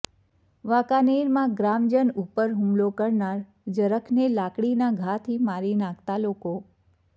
વાંકાનેરમાં ગ્રામજન ઉપર હૂમલો કરનાર જરખને લાકડીના ઘાથી મારી નાખતા લોકો